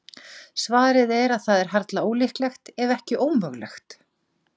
Svarið er að það er harla ólíklegt, ef ekki ómögulegt.